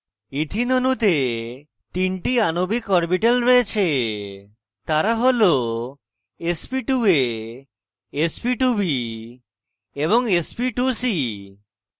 ethene অণুতে তিনটি আণবিক অরবিটাল রয়েছে তারা হল sp2a sp2b এবং sp2c